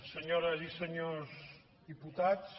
senyores i senyors diputats